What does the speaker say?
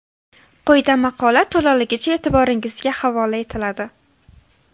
Quyida maqola to‘laligicha e’tiboringizga havola etiladi .